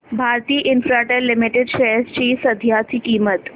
Bharti Infratel limited shares ची सध्याची किंमत